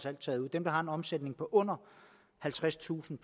er taget ud dem der har en omsætning på under halvtredstusind